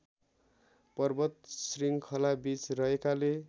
पर्वत श्रृङ्खलाबीच रहेकाले